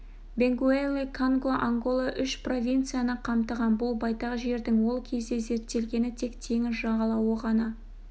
бенгуэлли конго ангола үш провинцияны қамтыған бұл байтақ жердің ол кезде зерттелгені тек теңіз жағалауы ғана